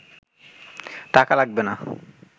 টাকা লাগবে না